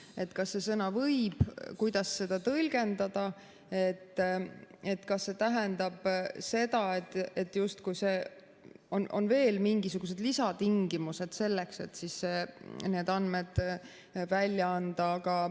Et kuidas seda sõna "võib" tõlgendada, kas see tähendab seda, et justkui on veel mingisuguseid lisatingimused selleks, et need andmed välja anda.